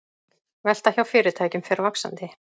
Velta hjá fyrirtækjum fer vaxandi